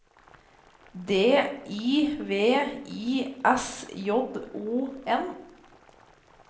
D I V I S J O N